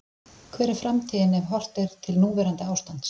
Hver er framtíðin ef horft er til núverandi ástands?